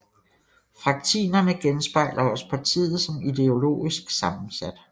Fraktinene genspejler også partiet som ideologisk sammensat